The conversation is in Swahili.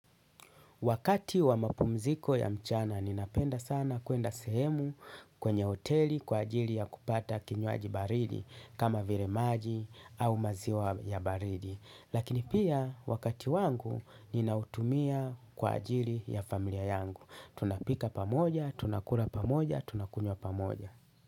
Wakati wa mapumziko ya mchana ninapenda sana kuenda sehemu kwenye hoteli kwa ajili ya kupata kinywaji baridi kama vile maji au maziwa ya baridi. Lakini pia wakati wangu ninautumia kwa ajili ya familia yangu. Tunapika pamoja, tunakula pamoja, tunakunywa pamoja.